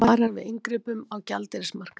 Varar við inngripum á gjaldeyrismarkaði